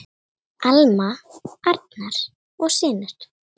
Alma, Arnar og synir.